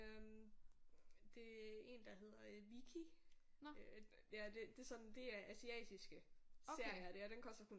Øh det er en der hedder øh Viki ja det det er sådan det er asiatiske serier og det og den koster kun